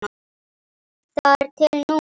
Þar til nú.